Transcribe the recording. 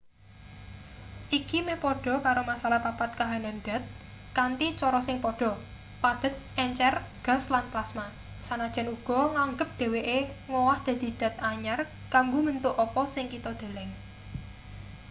iki meh padha karo masalah papat kahanan dat kanthi cara sing padha: padhet encer gas lan plasma sanajan uga nganggep dheweke ngowah dadi dat anyar kanggo mbentuk apa sing kita deleng